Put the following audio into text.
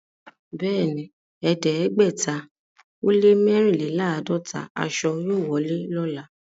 Bẹ́ẹ̀ni, ẹ̀ẹ́dẹ́gbẹ̀tà ó lẹ́ mẹ́rìnléláàádọ́tà àṣọ yóò wọlé lọ́lá.